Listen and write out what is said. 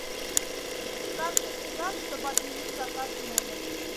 как мне связаться чтобы отменить заказ в номер